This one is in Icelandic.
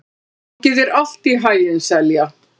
Gangi þér allt í haginn, Selja.